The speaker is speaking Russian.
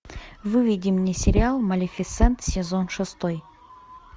выведи мне сериал малефисент сезон шестой